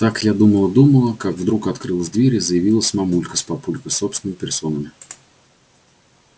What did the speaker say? так я думала-думала как вдруг открылась дверь и заявились мамулька с папулькой собственными персонами